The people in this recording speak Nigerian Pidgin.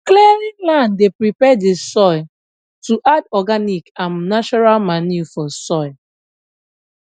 clearing land dey prepare the soil to add organic and natural manure for soil